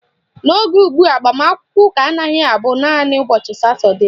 N'oge ugbua, agbamakwụkwọ ụka anaghị abụ naanị ụbọchị Satọdee